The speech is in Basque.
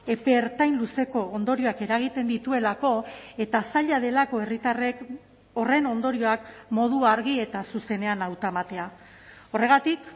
epe ertain luzeko ondorioak eragiten dituelako eta zaila delako herritarrek horren ondorioak modu argi eta zuzenean hautematea horregatik